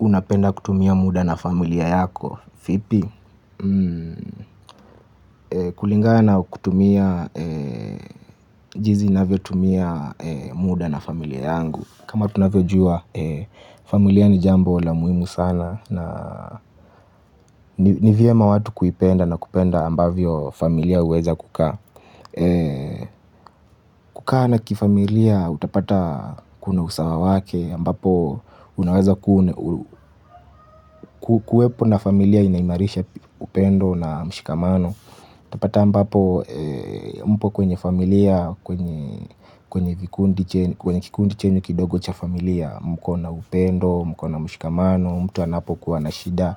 Unapenda kutumia muda na familia yako. Vipi? Kulingana na kutumia jinsi ninavyotumia muda na familia yangu. Kama tunavyojua, familia ni jambo la muhimu sana. Ni vyema watu kuipenda na kupenda ambavyo familia huweza kukaa. Kukaa na kifamilia utapata kuna usawa wake ambapo unaweza kuwepo na familia inaimarisha upendo na mshikamano. Utapata ambapo mpo kwenye familia, kwenye kikundi chenyu kidogo cha familia. Mko na upendo, mko na mshikamano, mtu anapokuwa na shida.